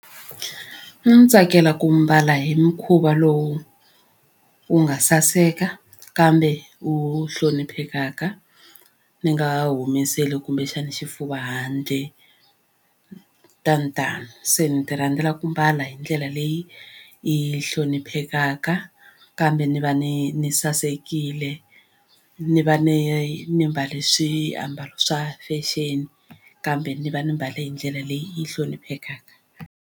A ni tsakela ku mbala hi mukhuva lowu wu nga saseka kambe wu hloniphekaka ni nga humeseli kumbexana xifuva handle tanitani se ni ta rhandzela ku mbala hi ndlela leyi yi hloniphekaka kambe ni va ni ni sasekile ni va ni ni mbale swiambalo swa fashion kambe ni va ni mbale hi ndlela leyi hloniphekaka.